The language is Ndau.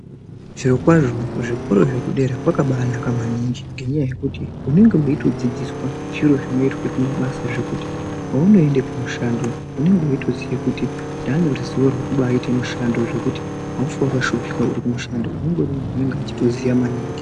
Zvirokwazvo kuzvikoro zvekudera kwakabaanaka maningi ngenyaya yekuti unenge weitodzidziswa zviro zvinoitwe kumabasa zvekuti paunoende kumushando unenge weitoziye kuti ndaaneruzivo rwekubaaite mushando zvekuti haufi wakashupika uri kumushando. Unenge uri muntu anenge echitoziya maningi.